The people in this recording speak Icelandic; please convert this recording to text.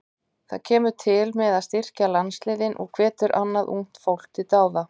Það kemur til með að styrkja landsliðin og hvetur annað ungt fólk til dáða.